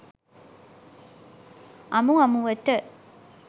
අමු අමුවට